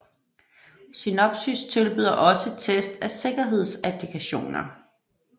Synopsys tilbyder også test af sikkerhedsapplikationer